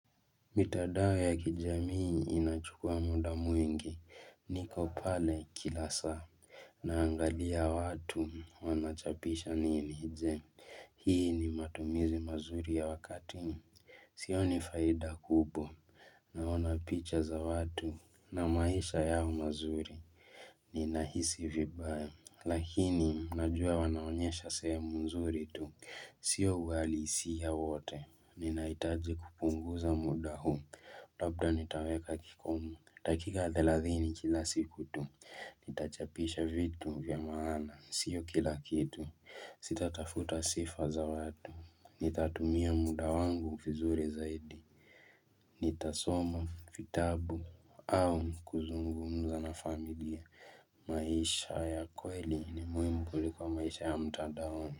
Mitandao ya kijamii inachukua muda mwingi, niko pale kila saa Naangalia watu, wanachapisha nini je, hii ni matumizi mazuri ya wakati? Sioni faida kubwa, naona picha za watu, na maisha yao mazuri, ninahisi vibaya Lakini, najua wanaonyesha sehemu nzuri tu, sio uhalisia wote Nina hitaji kupunguza muda huu, labda nitaweka kikomo dakika 30 kila siku tu, nitachapisha vitu vya maana, sio kila kitu Sitatafuta sifa za watu, nitatumia muda wangu vizuri zaidi Nitasoma vitabu au kuzungumza na familia maisha ya kweli ni muhimu kuliko maisha ya mtadaoni.